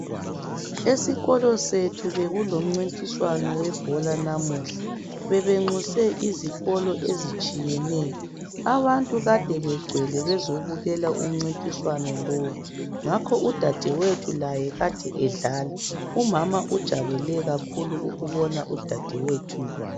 Esikolo sethu bekulomcintiswano webhola namuhla , bebenxuse izikolo ezitshiyeneyo , abantu Kade begcwele bezobukela umcintiswano lowu ngakho udadewethu laye Kade edlala , umama ujabule kakhulu ukubona udadewethu